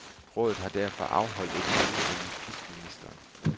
Rådet har derfor afholdt et møde med justitsministeren.